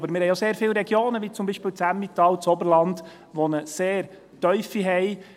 Aber wir haben auch sehr viele Regionen, wie beispielsweise das Emmental und das Oberland, die eine sehr tiefe haben.